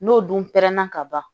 N'o dun pɛrɛnna ka ban